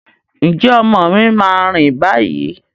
Ǹjẹ́ ọmọ mi máa rìn báyìí?